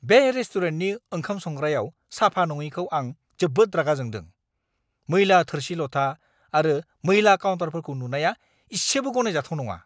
बे रेस्टुरेन्टनि ओंखाम संग्रायाव साफा नङिखौ आं जोबोद रागा जोंदों। मैला थोरसि-लथा आरो मैला काउन्टारफोरखौ नुनाया इसेबो गनायजाथाव नङा!